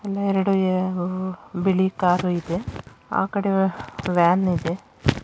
ಎಲ್ಲೇ ಎರಡು ಯಾ ವು ಬಿಳಿ ಕಾರು ಇದೆ ಆ ಕಡೆ ವ್ಯಾನ್‌ ಇದೆ.